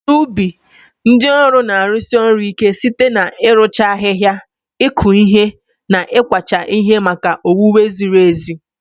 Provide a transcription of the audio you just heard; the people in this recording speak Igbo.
N'ubi, ndị ọrụ na-arụsi ọrụ ike site n'ịrụcha ahihia, ịkụ ihe, na ịkwacha ihe maka owuwe zirir ezi.